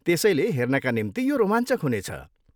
त्यसलै हेर्नका निम्ति यो रोमाञ्चक हुनेछ।